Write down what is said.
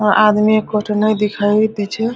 वहां आदमी एकोठो नए दिखाई दे छै।